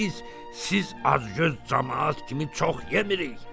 Axı biz siz acgöz camaat kimi çox yemirik.